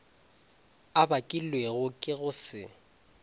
a bakilwego ke go se